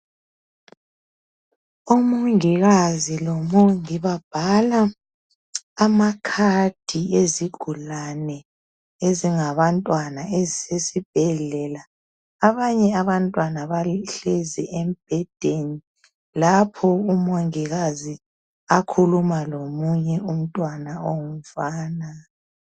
Umongikazi lomongi babhala amacard ezigulane ezingabantwana ezisesibhedlela. Abanye abantwana bahlezi embhedeni lapho umongikazi akhuluma lomunye umntwana ongumfana.